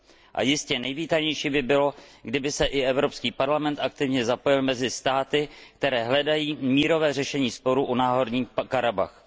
A jistě nejvítanější by bylo, kdyby se i Evropský parlament aktivně zapojil mezi státy, které hledají mírové řešení sporů o Náhorní Karabach.